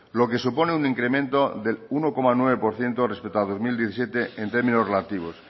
lo que supone un incremento del uno coma nueve por ciento respecto a dos mil diecisiete en términos relativos